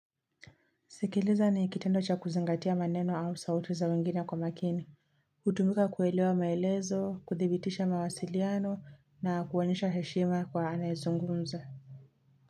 Sikiliza ni kitendo cha kuzingatia maneno au sauti za wengine kwa umakini, hutumika kuelewa maelezo, kudhibitisha mawasiliano na kuonyesha heshima kwa anayezungumza.